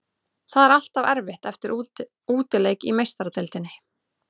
Það er alltaf erfitt eftir útileik í Meistaradeildinni.